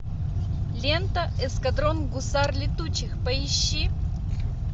лента эскадрон гусар летучих поищи